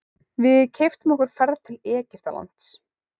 Við keyptum okkur ferð til Egyptalands.